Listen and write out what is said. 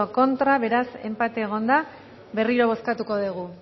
contra beraz enpatea egon da berriro bozkatuko dugu